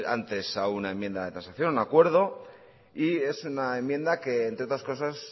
antes a una enmienda de transacción de un acuerdo y es una enmienda que entre otras cosas